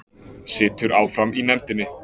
Situr áfram í nefndinni